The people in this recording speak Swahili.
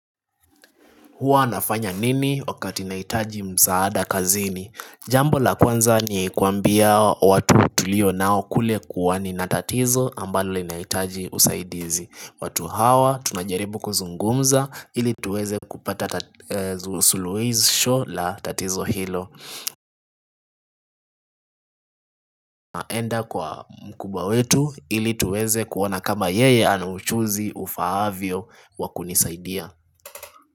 Huwa nafanya nini wakati nahitaji msaada kazini? Jambo la kwanza ni kuwaambia watu tulionao kule kuwa nina tatizo ambalo nahitaji usaidizi. Watu hawa tunajaribu kuzungumza ili tuweze kupata sulusho la tatizo hilo. Enda kwa mkubwa wetu ili tuweze kuona kama yeye ana ujuzi ufaavyo wa kunisaidia.